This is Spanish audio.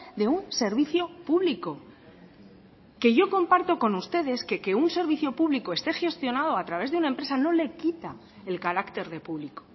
de un servicio público que yo comparto con ustedes que un servicio público esté gestionado a través de una empresa no le quita el carácter de público